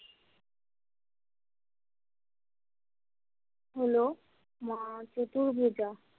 হলো মা চতুর্ভুজা।